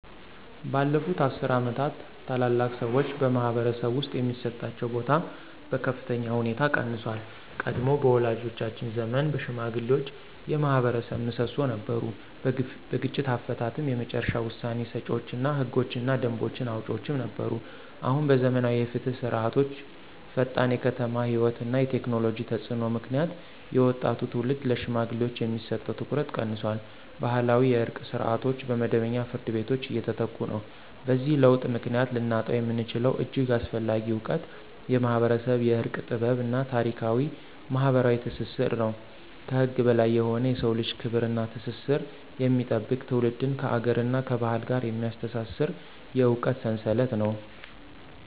ባለፉት አስርት ዓመታት፣ ታላላቅ ሰዎች በማኅበረሰብ ውስጥ የሚሰጣቸው ቦታ በከፍተኛ ሁኔታ ቀንሷል። ቀድሞ በወላጆቻችን ዘመን ሽማግሌዎች የማኅበረሰብ ምሰሶ ነበሩ። በግጭት አፈታትም የመጨረሻ ውሳኔ ሰጪዎች እና ህጎችንና ደንቦችን አውጪዎችም ነበሩ። አሁን በዘመናዊ የፍትህ ስርዓቶችዐፈጣን የከተማ ሕይወት እና የቴክኖሎጂ ተፅዕኖ ምክንያት የወጣቱ ትውልድ ለሽማግሌዎች የሚሰጠው ትኩረት ቀንሷል። ባህላዊ የእርቅ ስርዓቶች በመደበኛ ፍርድ ቤቶች እየተተኩ ነው። በዚህ ለውጥ ምክንያት ልናጣው የምንችለው እጅግ አስፈላጊ እውቀት የማኅበረሰብ የእርቅ ጥበብ እና ታሪካዊ ማኅበራዊ ትስስር ነው። ከህግ በላይ የሆነ የሰውን ልጅ ክብር እና ትስስር የሚጠብቅ፣ ትውልድን ከአገርና ከባህል ጋር የሚያስተሳስር የእውቀት ሰንሰለት ነው።